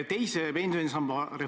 Nüüd, ma saan aru, mida te küsite.